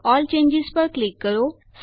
all changes પર click કરો